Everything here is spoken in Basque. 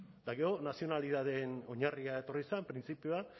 eta gero nazionalitateen oinarria etorri zen printzipioak